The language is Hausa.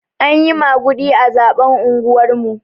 Anyi maguɗi a zaɓen unguwar mu.